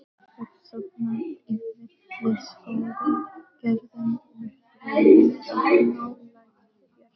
Hef sofnað í villiskógi gerðum úr draumum of nálægt jörðu.